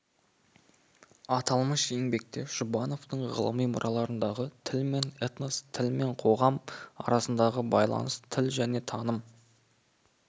аталмыш еңбекте жұбановтың ғылыми мұраларындағы тіл мен этнос тіл мен қоғам арасындағы байланыс тіл және таным